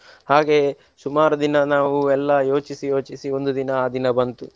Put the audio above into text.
ಹಾಗೆಯೇ ಸುಮಾರು ದಿನ ನಾವು ಎಲ್ಲಾ ಯೋಚಿಸಿ ಯೋಚಿಸಿ ಒಂದು ದಿನ ಆ ದಿನ ಬಂತು.